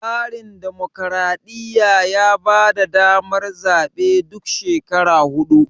tsarin dimokradiyya ya bada damar zabe duk shekara hudu